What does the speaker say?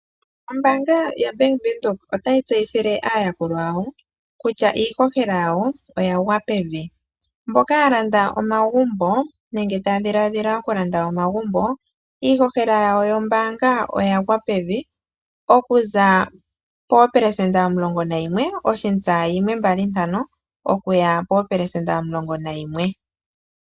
Ombaanga yaBank Windhoek otayi tseyithile aayakulwa yawo kutya iihohela yawo oya gwa pevi. Mboka ya landa omagumbo nenge taa dhiladhila okulanda omagumbo , iihohela yawo yombaanga oyagwa pevi, okuza poopelesenda omulongo nayimwe oshista yimwe mbali ntano okuya poopelesenda omulongo nayimwe.